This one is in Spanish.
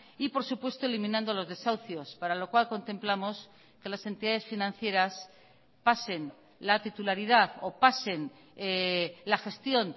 y por supuesto eliminando los desahucios para lo cual contemplamos que las entidades financieras pasen la titularidad o pasen la gestión